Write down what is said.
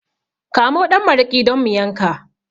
Kamo ɗan maraƙi don mu yanka